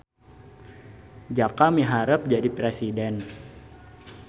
Jaka miharep jadi presiden